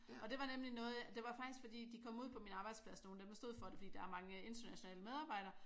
Og det var nemlig noget det var faktisk fordi de kom ud på min arbejdsplads nogle af dem der stod for det fordi der er mange internationale medarbejdere